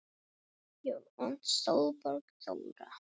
Þín frænka Sólborg Þóra.